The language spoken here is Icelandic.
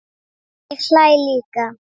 Ég hlæ líka.